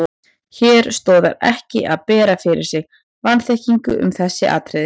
Hér stoðar ekki að bera fyrir sig vanþekkingu um þessi atriði.